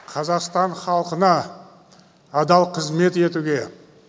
қазақстан халқына адал қызмет етуге